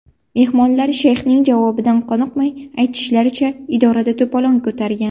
Mehmonlar shayxning javobidan qoniqmay, aytishlaricha, idorada to‘polon ko‘targan.